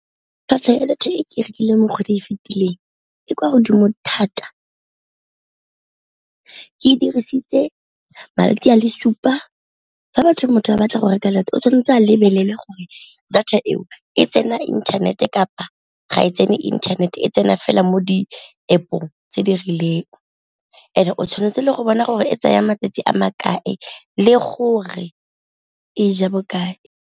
Tlhwatlhwa ya data e ke e rekileng mo kgwedi e fitileng e kwa godimo thata, ke e dirisitse malatsi a le supa. Fa motho a batla go reka data o tshwanetse a lebelele gore data ka eo e tsena internet-e kapa ga e tsene internet-e a tsena fela mo di-App-ong tse di rileng, and-e o tshwanetse le go bona gore e tsaya matsatsi a makae le gore e ja bo kae.